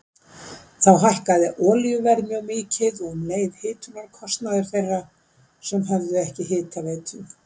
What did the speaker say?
Þá hækkaði olíuverð mjög mikið og um leið hitunarkostnaður þeirra sem höfðu ekki hitaveitu.